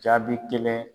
Jaabi kelen